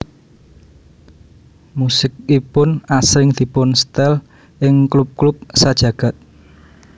Musikipun asring dipunstel ing klub klub sajagad